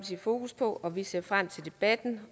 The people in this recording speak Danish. fokus på og vi ser frem til debatten